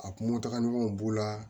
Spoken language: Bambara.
A kunko tagamaw b'o la